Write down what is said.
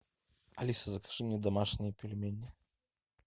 алиса закажи мне домашние пельмени